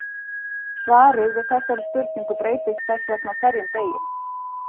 Svarið við þessari spurning breytist þess vegna á hverjum virkum degi.